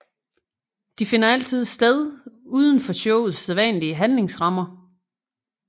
De finder altid sted uden for showets sædvanlige handlingsrammer